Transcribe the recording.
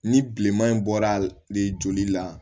Ni bileman in bɔra de joli la